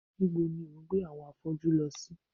Nibo ni o gbe awọn afọju lọ si?